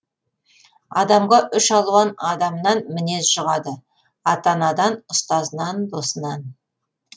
адамға үш алуан адамнан мінез жұғады ата анадан ұстазынан досынан